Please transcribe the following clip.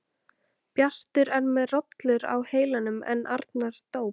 Bjartur er með rollur á heilanum en Arnar dóp.